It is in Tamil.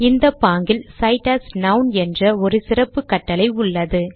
இந்த பாங்கில் cite as நான் என்ற ஒரு சிறப்புக் கட்டளை உள்ளது